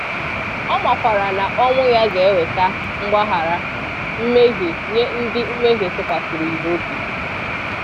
Ọ makwara na ọnwụ Ya ga-eweta mgbaghara mmehie nye ndị mmehie tụkwasịrị Ya obi.